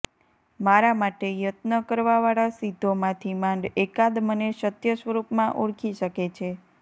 મારા માટે યત્ન કરવાવાળા સિદ્ધોમાંથી માંડ એકાદ મને સત્ય સ્વરૂપમાં ઓળખી શકે છે